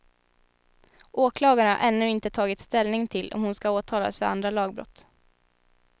Åklagaren har ännu inte tagit ställning till om hon ska åtalas för andra lagbrott.